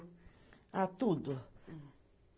Ah, tudo.